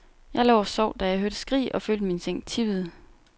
Jeg lå og sov, da jeg hørte skrig og følte min seng tippede.